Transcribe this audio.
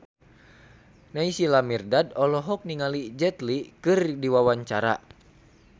Naysila Mirdad olohok ningali Jet Li keur diwawancara